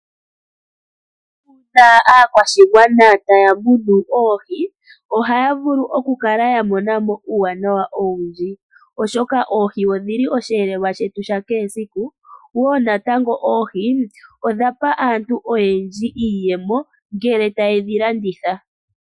Uuna aakwashigwana taya munu oohi ohaya vulu okukala ya monamo uuwanawa owundji oshoka oohi odhi li oshiyelelwa shetu sha kehe esiku wo natango oohi odha pa aantu oyednji iiyemo ngele taye dhilanditha.